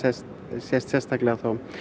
sést sérstaklega